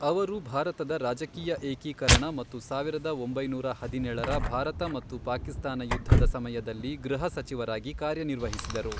ಅವರು ಭಾರತದ ರಾಜಕೀಯ ಏಕೀಕರಣ ಮತ್ತು ಸಾವಿರದ ಒಂಬೈನೂರ ಹದಿನೇಳರ ಭಾರತ ಮತ್ತು ಪಾಕಿಸ್ತಾನ ಯುದ್ಧದ ಸಮಯದಲ್ಲಿ ಗೃಹ ಸಚಿವರಾಗಿ ಕಾರ್ಯನಿರ್ವಹಿಸಿದರು.